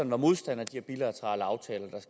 var modstander af